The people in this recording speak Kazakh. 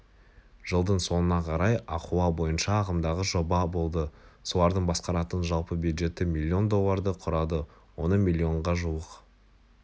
жылдың соңына қарай ахуал бойынша ағымдағы жоба болды солардың басқаратын жалпы бюджеті миллион долларды құрады оның миллионға жуық